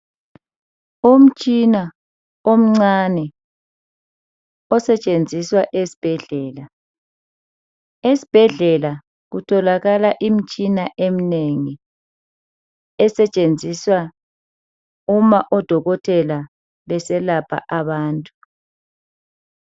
Umtshina omncane osetshenziswa esibhedlela, esibhedlela kutholakala imitshina eminengi esetshenziswa uma odokotela beselapha abantu.